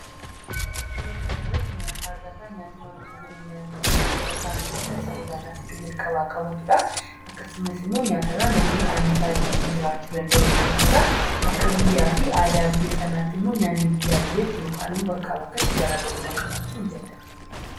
Suura kana irratti nyaata agarra. Nyaanni wantoota jireenya namaatiif bu'uura ta'an keessaa isa olaanaa fi iddo jalqabaa qabatudha. Akkasumas, nyaata irraa namni anniisaa ittiin jiraachuu danda'u ni argata. Akka biyyaa fi aadaa biyya sanaatti immoo nyaanni biyyaa biyyatti yookiin bakkaa bakkatti garaa garummaa qabaachuu ni danda'a.